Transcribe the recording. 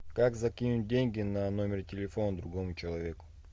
как закинуть деньги на номер телефона другому человеку